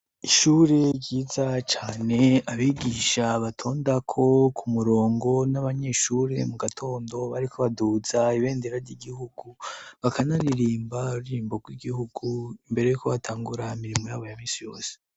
Ishuri ryiza cane abigisha batondako ku murongo n'abanyeshuri mu gatondo bariko baduza ibendera ry'igihugu bakanaririmba ururirimbo rw'igihugu imbere yuko batangura imirimo yabo ya minsi yose.